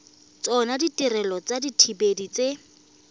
tsona ditirelo tsa dithibedi tse